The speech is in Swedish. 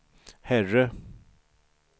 herre